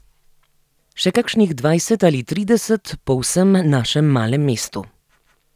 Še kakšnih dvajset ali trideset po vsem našem malem mestu.